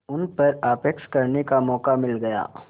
उन पर आक्षेप करने का मौका मिल गया